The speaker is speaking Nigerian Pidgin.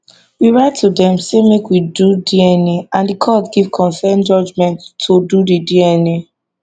we write to dem say make we do dna and di court give consent judgement to do di dna